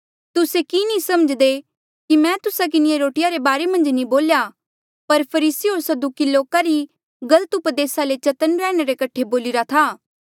तुस्से कि नी समझ्दे कि मैं तुस्सा किन्हें रोटिया रे बारे मन्झ नी बोल्या पर फरीसी होर सदूकी लोका री गलत उपदेस ले चतन्न रैहणे रे कठे बोलिरा था